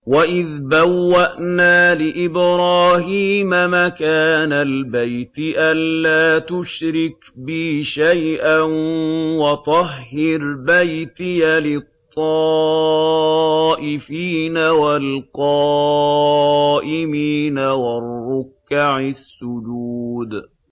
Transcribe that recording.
وَإِذْ بَوَّأْنَا لِإِبْرَاهِيمَ مَكَانَ الْبَيْتِ أَن لَّا تُشْرِكْ بِي شَيْئًا وَطَهِّرْ بَيْتِيَ لِلطَّائِفِينَ وَالْقَائِمِينَ وَالرُّكَّعِ السُّجُودِ